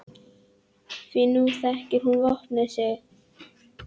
Því nú þekkir hún vopn sín.